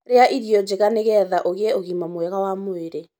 Rĩa irio njega nĩgetha ũgĩe ũgima mwega wa mwĩrĩ